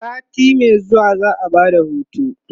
sati Mai zuwa za'a Bada hutu